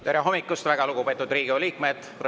Tere hommikust, väga lugupeetud Riigikogu liikmed!